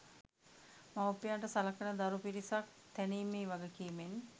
මවුපියන්ට සලකන දරු පිරිසක් තැනීමේ වගකීමෙන්